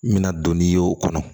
N bɛna don n'i ye o kɔnɔ